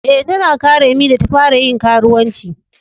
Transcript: Eh, ta na karemi da ta fara yin karuwanci.